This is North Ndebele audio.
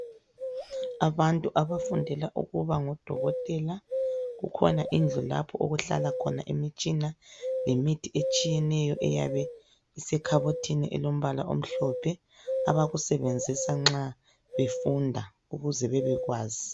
Abantu abafundela ukuba ngodokotela. Kukhona indlu lapho okuhlala khona imitshina lemithi etshiyeneyo eyabe isekhabothini elombala omhlophe abakusebenzisa nxa befunda ukuze bebekwazi.